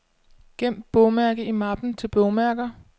Gem bogmærke i mappen til bogmærker.